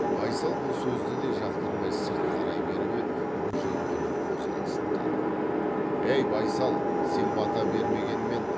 байсал бұл сөзді де жақтырмай сырт қарай беріп еді бөжей оның қозғалысын танып ей байсал сен бата бермегенмен